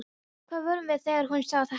Hvar vorum við þegar hún sagði þetta?